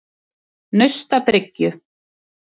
Naustabryggju